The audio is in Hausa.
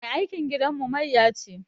Mai aikin gidanmu mayya ce